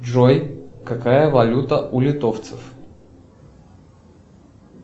джой какая валюта у литовцев